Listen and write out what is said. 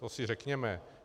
To si řekněme.